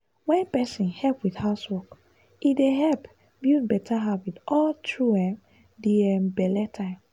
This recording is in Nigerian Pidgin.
wen person help with housework e dey help build better habit all through um di um belle time.